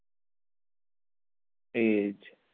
એજ